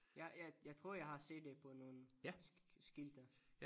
Jeg jeg jeg tror jeg har set det på nogle skilte